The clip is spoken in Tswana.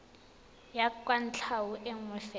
ya kwatlhao e nngwe fela